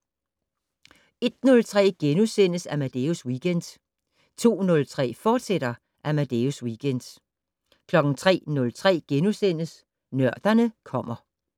01:03: Amadeus Weekend * 02:03: Amadeus Weekend, fortsat 03:03: Nørderne kommer *